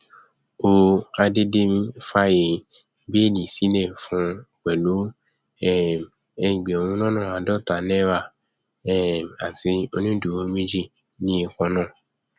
ó àdédémí fààyè bẹẹlí sílẹ fún un pẹlú um ẹgbẹrún lọnà àádọta náírà um àti onídùúró méjì níye kan náà